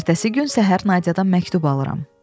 Ertəsi gün səhər Nadiyadan məktub alıram.